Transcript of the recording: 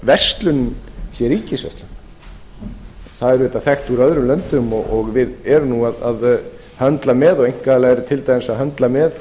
verslunin sé ríkisrekin það er auvðtiað þekkt úr öðrum löndum og við erum nú að höndla með og einkaaðilar eru til dæmis að höndla með